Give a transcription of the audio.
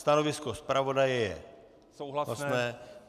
Stanovisko zpravodaje je souhlasné.